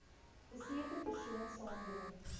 beseerde persoon saamdrom